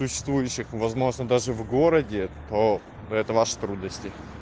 существующих возможно даже в городе то это ваши трудности